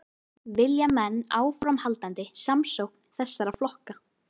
Vilja menn áframhaldandi samstjórn þessara flokka?